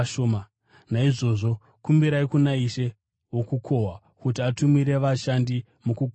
Naizvozvo kumbirai kuna Ishe wokukohwa kuti atumire vashandi mukukohwa kwake.”